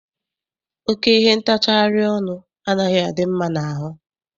Oke ihe ntacharị ọnụ anaghị adị mma n'ahụ.